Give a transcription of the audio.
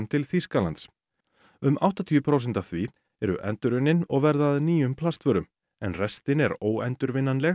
til Þýskalands um áttatíu prósent af því eru endurunnin og verða að nýjum plastvörum en restin er